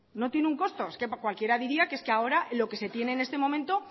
no tiene un costo es que cualquier diría que es que ahora lo que se tiene en este momento